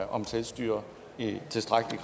om selvstyre i tilstrækkelig